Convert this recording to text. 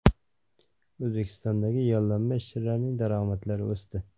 O‘zbekistondagi yollanma ishchilarning daromadlari o‘sdi.